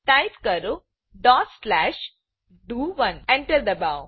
type કરો dot slash ડીઓ1 Enter એન્ટરદબાવો